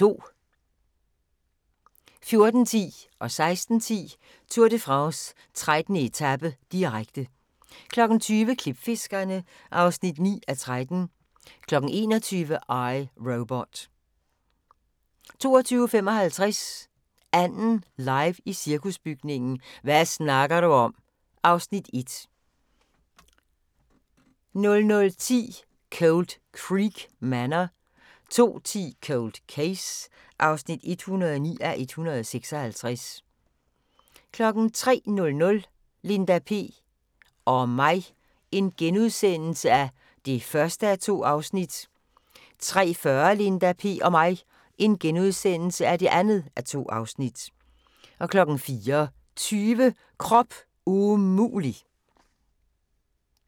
14:10: Tour de France: 13. etape, direkte 16:10: Tour de France: 13. etape, direkte 20:00: Klipfiskerne (9:13) 21:00: I, Robot 22:55: "Anden" live i Cirkusbygningen – hva` snakker du om? (Afs. 1) 00:10: Cold Creek Manor 02:10: Cold Case (109:156) 03:00: Linda P... og mig (1:2)* 03:40: Linda P... og mig (2:2)* 04:20: Krop umulig!